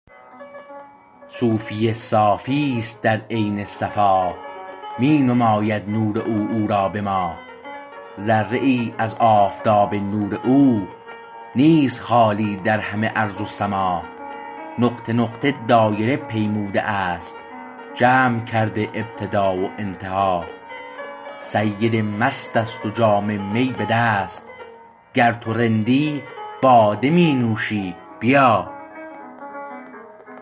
صوفی صافی است در عین صفا می نماید نور او او را به ما ذره ای از آفتاب نور او نیست خالی در همه ارض و سما نقطه نقطه دایره پیموده است جمع کرده ابتدا و انتها سید مست است و جام می به دست گر تو رندی باده می نوشی بیا